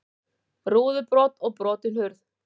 Rúðubrot og brotin hurð